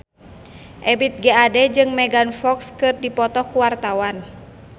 Ebith G. Ade jeung Megan Fox keur dipoto ku wartawan